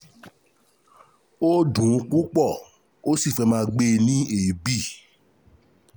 Ó dùn ún púpọ̀, ó sì fẹ́ máa gbé e ní èébì